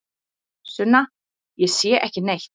Sunna: Ég sé ekki neitt.